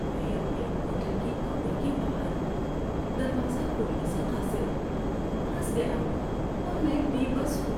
میں اپنے ہوٹل کے کمرے کے باہر، دروازہ کھولنے سے قاصر، پھنس گیا ہوں اور میں بے بس ہوں۔